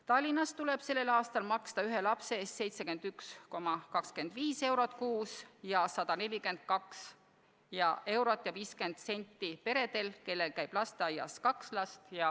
Tallinnas tuleb sellel aastal maksta ühe lapse eest 71,25 eurot kuus ning 142 eurot ja 50 senti peredel, kellel käib lasteaias kaks last.